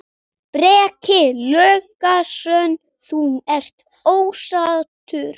Breki Logason: Þú ert ósáttur?